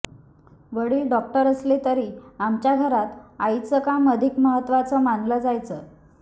वडील डॉक्टर असले तरी आमच्या घरात आईचं काम अधिक महत्त्वाचं मानलं जायचं